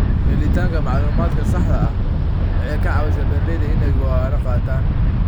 Helitaanka macluumaadka saxda ah waxay ka caawisaa beeralayda inay go'aano qaataan.